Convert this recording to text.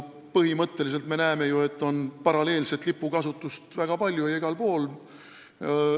Põhimõtteliselt me näeme ju, et paralleelset lipukasutust on väga palju ja igal pool.